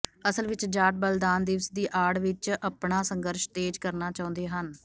ਅਸਲ ਵਿੱਚ ਜਾਟ ਬਲੀਦਾਨ ਦਿਵਸ ਦੀ ਆੜ ਵਿੱਚ ਆਪਣਾਸੰਘਰਸ਼ ਤੇਜ਼ ਕਰਨਾ ਚਾਹੁੰਦੇ ਹਨ